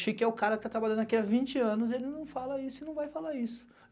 Chique é o cara que tá trabalhando aqui há vinte anos, ele não fala isso e não vai falar isso.